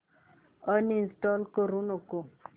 uninstall करू नको